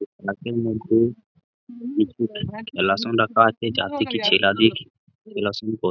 গাছের মধ্যে কিছু রাখা আছে যার থেকে ছেলা দিয়ে ।